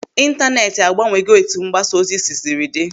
Intaneeti agbanwego etu mgbasa ozi sisiri dị.